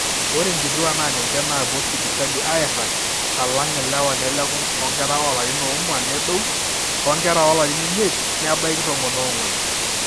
ore inkituaak naa ninche naapuo sipitali aiirag alang ilewa neleku toonkera oolarin oong'wan nedou, onkera oolarin imiet nebaiki tomon oong'wan